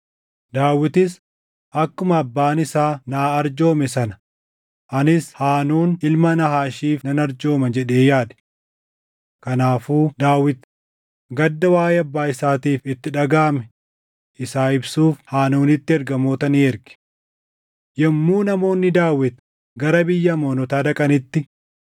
Daawitis, “Akkuma abbaan isaa naa arjoome sana anis Haanuun ilma Naahaashiif nan arjooma” jedhee yaade. Kanaafuu Daawit gadda waaʼee abbaa isaatiif itti dhagaʼame isaa ibsuuf Haanuunitti ergamoota ni erge. Yommuu namoonni Daawit gara biyya Amoonotaa dhaqanitti,